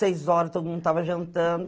Seis horas, todo mundo tava jantando.